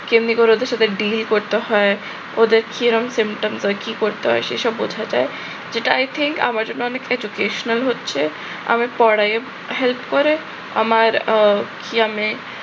কেমনি করে ওদের সাথে deal করতে হয়, ওদের কিরম symptoms টায় কিরম করতে হয় সেসব বোঝা যায়। যেটা i think আমার জন্যে অনেক educational হচ্ছে, আমি পড়ায়ও help করে। আমার আহ কিয়ামে